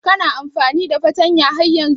Kana amfani da fartanya har yanzun?